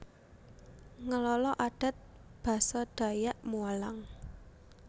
Ngelala Adat Basa Dayak Mualang